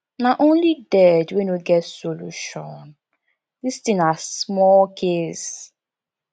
na only dead wey no get solution this thing na small case